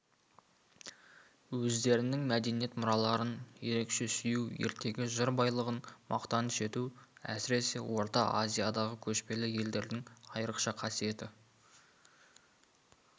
өздерінің мәдениет мұраларын ерекше сүю ертегі жыр байлығын мақтаныш ету әсіресе орта азиядағы көшпелі елдердің айрықша қасиеті